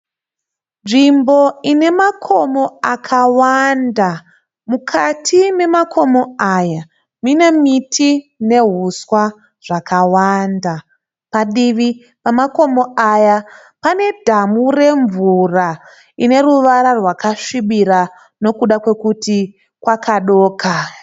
Nzvimbo ine makomo akawanda. Mukati memakomo aya mune miti nehuswa zvakawanda padivi pemakomo aya panedhamu remvura rineruvara rwasvibira nekuda kwekuti kwakadoka.